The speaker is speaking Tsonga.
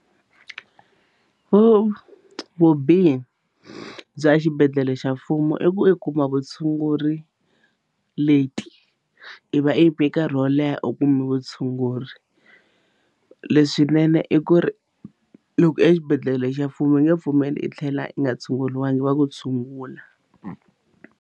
vubihi bya xibedhlele xa mfumo i ku i kuma vutshunguri late i va i yime nkarhi wo leha i kuma vutshunguri leswinene i ku ri loko exibedhlele xa mfumo va nge pfumeli i tlhela i nga tshunguriwanga va ku tshungula.